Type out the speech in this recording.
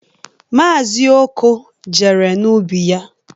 Maazi Okoh jere n'ubi ya.